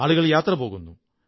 ആളുകൾ യാത്ര പോകുന്നു